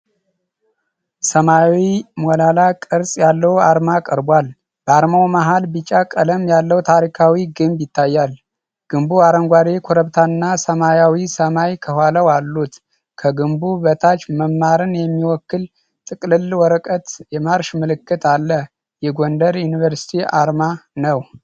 ሰማያዊ ሞላላ ቅርጽ ያለው አርማ ቀርቧል። በአርማው መሀል ቢጫ ቀለም ያለው ታሪካዊ ግንብ ይታያል፤ ግንቡ አረንጓዴ ኮረብታና ሰማያዊ ሰማይ ከኋላው አሉት። ከግንቡ በታች መማርን የሚወክል ጥቅልል ወረቀትና የማርሽ ምልክት አለ። የጎንደር ዩኒቨርሲቲ አርማ ነው።